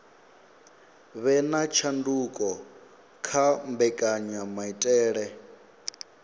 vhe na tshanduko kha mbekanyamaitele